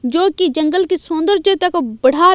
जो की जंगल की सुन्दरजता को बढा--